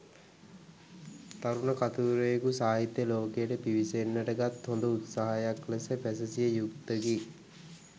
තරුණ කතුවරයෙකු සාහිත්‍ය ලෝකයට පිවිසෙන්නට ගත් හොඳ උත්සාහයක් ලෙස පැසසිය යුත්තකි